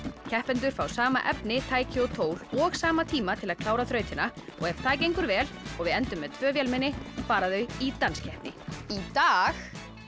keppendur fá sama efni tæki og tól og sama tíma til að klára þrautina og ef það gengur vel og við endum með tvö vélmenni fara þau í danskeppni í dag